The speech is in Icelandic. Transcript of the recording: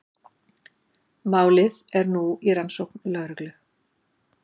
Málið er nú í rannsókn lögreglu